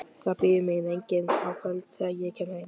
Það bíður mín enginn á kvöldin, þegar ég kem heim.